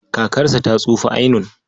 Kakarsa ta tsufa ainun.